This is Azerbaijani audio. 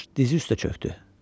Coş dizi üstə çökdü.